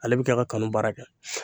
Ale bi kɛ ka kanu baara kɛ;